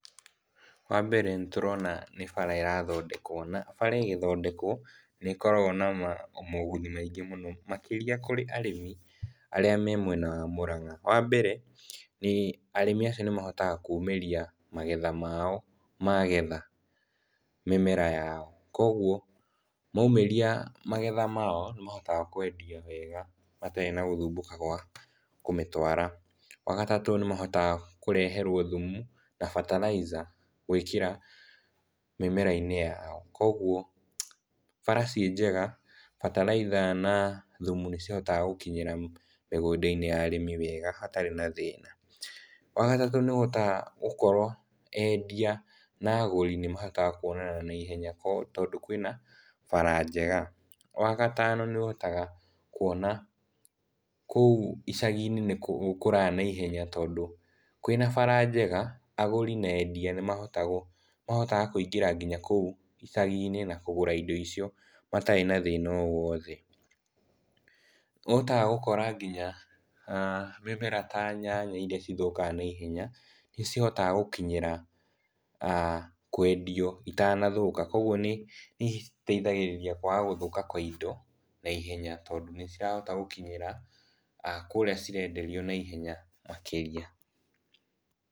Wa mbere nĩtũrona nĩ bara ĩrathondekwo, na bara ĩgĩthondekwo nĩkoragwo na moguni maingĩ mũno makĩria kũrĩ arĩmi arĩa marĩ mwena wa Murang'a. Wa mbere, arĩmi acio nĩmahotaga kumĩria magetha mao magetha mĩmera yao. Koguo maumĩria magetha mao nĩmahotaga kwendia wega matarĩ na gũthumbũka kwa kũmĩtwara. Wa gatatũ, nĩmahotaga kũreherwo thumu na bataraitha gwĩkĩra mĩmera-inĩ yao, koguo bara ciĩnjega bataraitha na thumu nĩcihotaga gũkinyĩra mĩgunda-inĩ ya arĩmi wega hatarĩ na thĩna. Wa gatatũ, nĩũhotaga gũkorwo endia na agũri nĩmahotaga kuonana na ihenya, tondũ kwĩna bara njega. Wa gatano, nĩũhotaga kuona kũu icagi-inĩ nĩgũkũraga na ihenya tondũ kwĩ na bara njega, agũri na endia nĩmahotaga kũingĩra kũu icagi-inĩ na kũgũra indo icio matarĩ na thĩna o wothe. Nĩũhotaga gũkora nginya mĩmera ta nyanya iria cithũkaga na ihenya nĩcihotaga gũkinyĩra kwendio itanathũka, koguo nĩciteithagĩrĩria kwaga gũthũka kwa indo na ihenya, tondũ nĩcirahota gũkinyĩra kũrĩa cirenderio na ihenya makĩria.